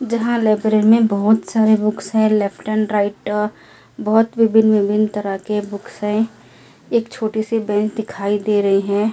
जहाँ लाइब्रेरी में बहुत सारे बुक्स है लेफ्ट एंड राइट बहुत विभीन्न विभीन्न तराके बुक्स है एक छोटी सी बेंच दिखायी दे रही है औ--